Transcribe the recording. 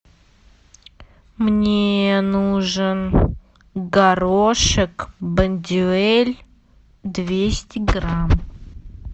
мне нужен горошек бондюэль двести грамм